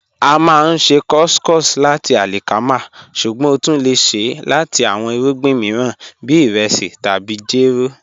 A máá n ṣè couscous lati alikama, ṣùgbọ́n o tún lẹ̀ ṣè lati awọn irugbin miiran bí iresi tabi jẹ́rò